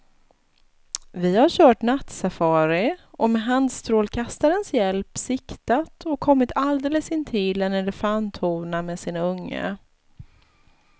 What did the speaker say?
Vi har kört nattsafari och med handstrålkastarens hjälp siktat och kommit alldeles intill en elefanthona med sin unge.